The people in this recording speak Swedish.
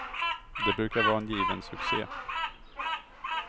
Det brukar vara en given succé.